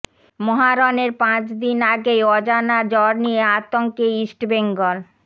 মহারণের পাঁচ দিন আগেই অজানা জ্বর নিয়ে আতঙ্কে ইস্টবেঙ্গল